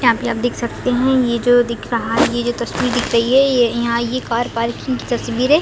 यहाँ पे आप देख सकते है ये जो दिख रहा हैं ये जो तस्वीर दिख रही है ये यहाँ ये कार पार्किंग की तस्वीरे--